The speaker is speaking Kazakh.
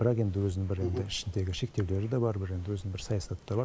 бірақ енді өзінің бір енді ішіндегі шектеулері де бар бір енді өзінің бір саясаты да бар